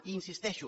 i hi insisteixo